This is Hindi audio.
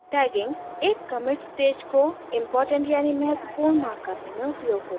* tagging एक commit stage को इम्पॉर्टेंट यानि महत्वपूर्ण mark करने में उपयोग होता है